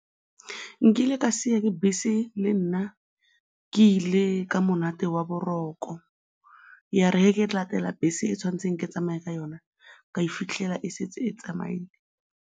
Nkile ka siiwa ke bese le nna ke ile ka monate wa boroko, ya re ge ke latela bese e ke tshwanetseng ke tsamaye ka yona, ka e fitlhela e setse e tsamaile.